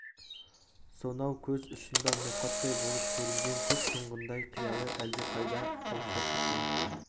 сонау көз ұшында ноқаттай болып көрінген көк тұйғындай қиялы әлдеқайда алыстап кеткен